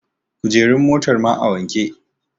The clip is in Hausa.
kujerun motar ma a wanke?